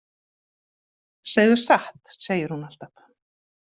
Segðu satt, segir hún alltaf.